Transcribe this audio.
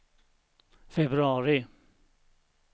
februari